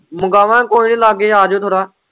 ਮੰਗਵਾਗੇ ਕੋਈ ਨੀ ਲਾਂਗੇ ਆਜੋ ਥੋੜ੍ਹਾ।